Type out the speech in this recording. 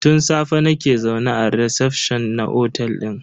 Tun safe nake zaune a recefshon na otel din.